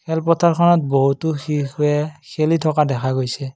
খেলপথাৰখনত বহুতো শিশুৱে শেলি থকা দেখা গৈছে।